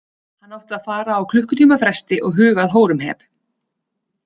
Hann átti að fara á klukkutíma fresti og huga að Hóremheb.